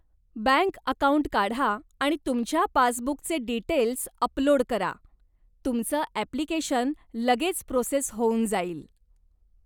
Bank account काढा आणि तुमच्या पासबुकचे डीटेल्स अपलोड करा, तुमचं अप्लिकेशन लगेच प्रोसेस होऊन जाईल.